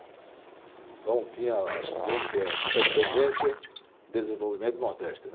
Então tinha a Sudene, que é a Superintendência de Desenvolvimento do Nordeste.